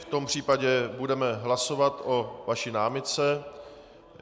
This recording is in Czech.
V tom případě budeme hlasovat o vaší námitce.